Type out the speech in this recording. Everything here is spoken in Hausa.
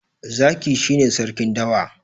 Zaki shi ne sarkin dawa.